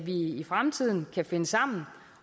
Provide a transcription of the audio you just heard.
i fremtiden kan finde sammen